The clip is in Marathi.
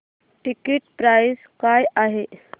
टिकीट प्राइस काय आहे